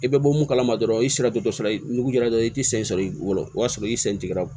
I bɛ bɔ mun kalama dɔrɔn i sira tɛ dɔ sɔrɔ i nugu kɛra dɔrɔn i tɛ sen sɔrɔ i bolo o y'a sɔrɔ i sen tigɛra